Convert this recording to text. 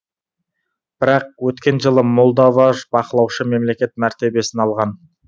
бірақ өткен жылы молдова бақылаушы мемлекет мәртебесін алған